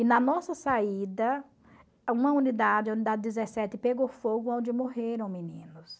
E na nossa saída, uma unidade, a unidade dezessete, pegou fogo aonde morreram meninos.